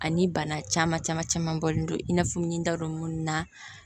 Ani bana caman caman caman bɔlen don i n'a fɔ n ɲ'a dɔn munnu na